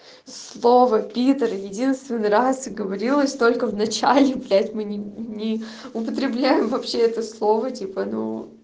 слово питр единственный раз говорилось только в начале блять мы не не употребляем вообще это слово типа ну